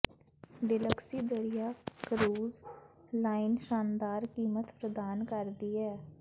ਡਿਲਕਸੀ ਦਰਿਆ cruise line ਸ਼ਾਨਦਾਰ ਕੀਮਤ ਪ੍ਰਦਾਨ ਕਰਦੀ ਹੈ